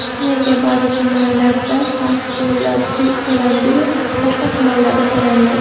Nega ba’zi tumanlarga farq to‘landi-yu , boshqa tumanlarga to‘lanmadi?